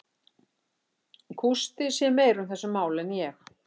Gústi sér meira um þessi mál en ég.